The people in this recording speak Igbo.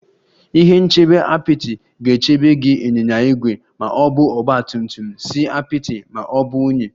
Ihe nchebe Apịtị ga-echebe gị ịnyịnya ígwè ma ọ bụ ọgba tum tum si apịtị ma ọ bụ unyi